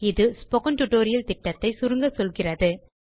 இது spoken tutorial திட்டத்தை சுருங்க சொல்கிறது